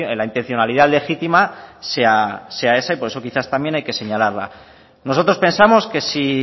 la intencionalidad legitima sea ese y por eso hay que señalarla nosotros pensamos